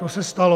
To se stalo.